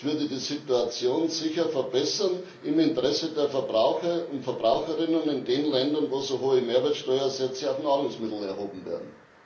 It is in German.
Das würde die Situation sicher verbessern, im Interesse der Verbraucher und Verbraucherinnen in den Ländern, wo so hohe Mehrwertsteuersätze auf Nahrungsmittel erhoben werden.